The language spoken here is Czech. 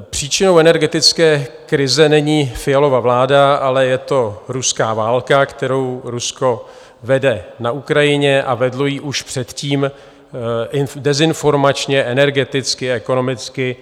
Příčinou energetické krize není Fialova vláda, ale je to ruská válka, kterou Rusko vede na Ukrajině, a vedlo ji už předtím dezinformačně, energeticky, ekonomicky